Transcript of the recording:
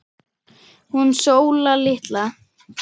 Hún Sóla litla?